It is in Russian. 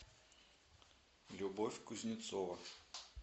любовь кузнецова